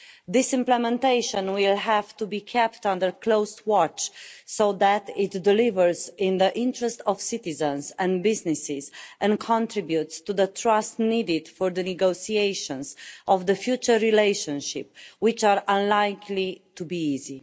This implementation will have to be kept under close watch so that it delivers in the interest of citizens and businesses, and contributes to the trust needed for the negotiations of the future relationship, which are unlikely to be easy.